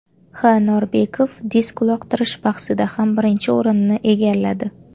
H. Norbekov disk uloqtirish bahsida ham birinchi o‘rinni egalladi.